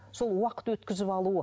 сол уақыт өткізіп алуы